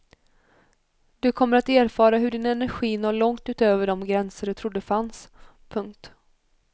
Du kommer att erfara hur din energi når långt utöver de gränser du trodde fanns. punkt